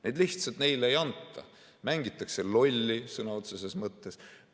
Neid lihtsalt neile ei anta, mängitakse lolli sõna otseses mõttes.